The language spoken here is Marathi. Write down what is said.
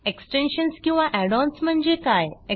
एक्सटेन्शन्स किंवा add ओएनएस म्हणजे काय